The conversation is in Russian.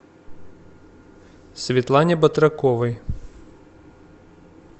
светлане батраковой